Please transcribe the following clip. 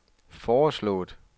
foreslået